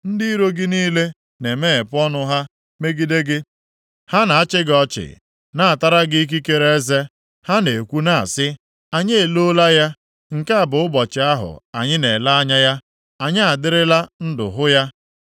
Ndị iro gị niile na-emeghepụ ọnụ ha megide gị; ha na-achị gị ọchị, na-atara gị ikekere eze. Ha na-ekwu na-asị, “Anyị eloola ya. Nke a bụ ụbọchị ahụ anyị na-ele anya ya. Anyị adịrịla ndụ hụ ya.”